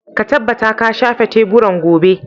Ka tabbata ka shafe teburan gobe.